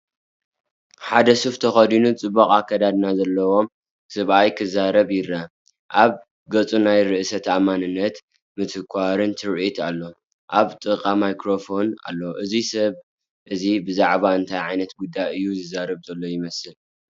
ሓደ ሱፍ ተኸዲኑ ጽቡቕ ኣከዳድና ዘለዎ ሰብኣይ ክዛረብ ይረአ። ኣብ ገጹ ናይ ርእሰ ተኣማንነትን ምትኳርን ትርኢት ኣሎ። ኣብ ጥቓኡ ማይክሮፎን ኣሎ። እዚ ሰብ እዚ ብዛዕባ እንታይ ዓይነት ጉዳይ እዩ ዝዛረብ ዘሎ ይመስል?